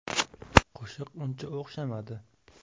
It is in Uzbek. Qo‘shiq uncha o‘xshamadi.